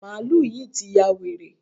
Màálù yí ti ya wèrè.